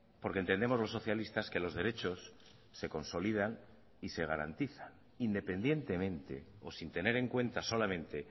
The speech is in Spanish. porque entendemos los socialistas que los derechos se consolidan y se garantizan independientemente o sin tener en cuenta solamente